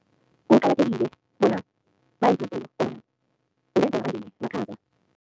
Kuqakathekile bona makhaza.